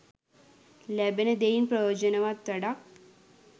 ලැබෙන දෙයින් ප්‍රයෝජනවත් වැඩක්